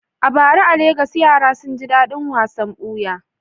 A bara a Legas, yara sun ji daɗin wasan buya.